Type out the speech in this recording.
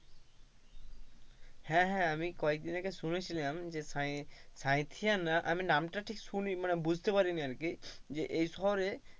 হ্যাঁ হ্যাঁ আমি কয়দিন আগে শুনেছিলাম যে সাই সাঁইথিয়া না আমি নামটা ঠিক শুনি মানে বুঝতে পারিনি আর কি, যে এই শহর এ,